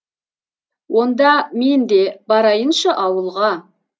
онда мен де барайыншы ауылға